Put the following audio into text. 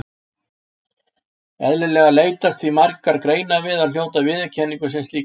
Eðlilega leitast því margar greinar við að hljóta viðurkenningu sem slíkar.